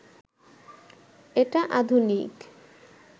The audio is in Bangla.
এটা আধুনিক